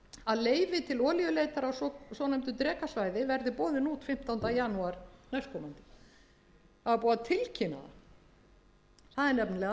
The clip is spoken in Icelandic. að leyfi til olíuleitar á svonefndu drekasvæði verði boðin út fimmtánda janúar næstkomandi það var búið að tilkynna það það er nefnilega